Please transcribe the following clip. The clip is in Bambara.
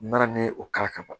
Mana min o kari ka ban